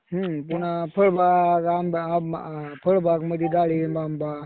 हम्म. पुन्हा फळबाग आंबा, फळबाग मध्ये डाळींब, आंबा